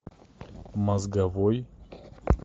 мозговой